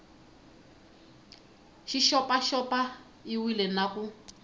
xi xopaxop iwile na ku